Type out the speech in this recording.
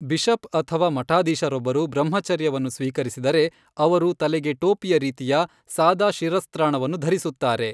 Bishop ಅಥವಾ ಮಠಾಧೀಶರೊಬ್ಬರು ಬ್ರಹ್ಮಚರ್ಯವನ್ನು ಸ್ವೀಕರಿಸಿದರೆ, ಅವರು ತಲೆಗೆ ಟೋಪಿಯ ರೀತಿಯ ಸಾದಾ ಶಿರಸ್ತ್ರಾಣವನ್ನು ಧರಿಸುತ್ತಾರೆ.